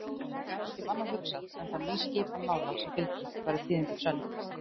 Hann gat ekki um annað hugsað en þá nýskipan mála sem fylgdi, væru tíðindin sönn.